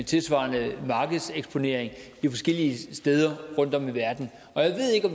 tilsvarende markedseksponering forskellige steder rundtom i verden